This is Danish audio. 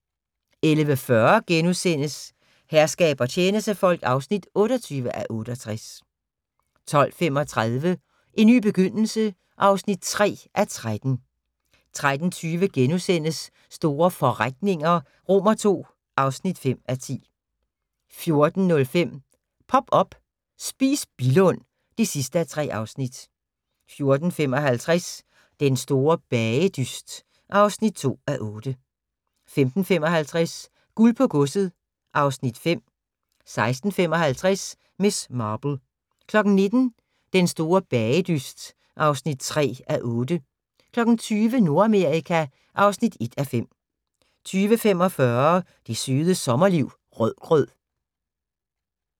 11:40: Herskab og tjenestefolk (28:68)* 12:35: En ny begyndelse (3:13) 13:20: Store forretninger II (5:10)* 14:05: Pop up – Spis Billund (3:3) 14:55: Den store bagedyst (2:8) 15:55: Guld på godset (Afs. 5) 16:55: Miss Marple 19:00: Den store bagedyst (3:8) 20:00: Nordamerika (1:5) 20:45: Det Søde Sommerliv – Rødgrød